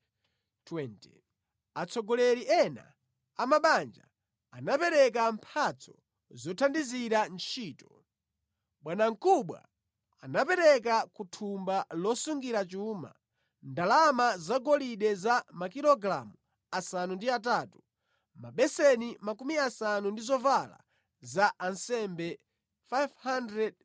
Atsogoleri ena a mabanja anapereka mphatso zothandizira ntchito. Bwanamkubwa anapereka ku thumba losungira chuma, ndalama zagolide za makilogalamu asanu ndi atatu, mabeseni makumi asanu ndi zovala za ansembe 530.